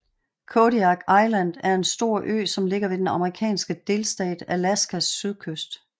Kodiak Island er en stor ø som ligger ved den amerikanske delstat Alaskas sydkyst